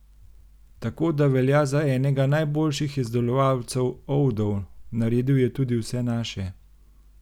Tako da velja za enega najboljših izdelovalcev oudov, naredil je tudi vse naše.